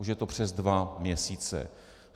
Už je to přes dva měsíce.